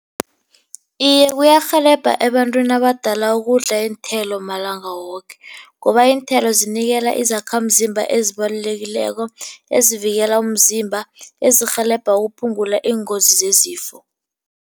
Iye, kuyarhelebha ebantwini abadala ukudla iinthelo malanga woke, ngoba iinthelo zinikela izakhamzimba ezibalulekileko ezivikela umzimba, ezirhelebha ukuphungula iingozi zezifo.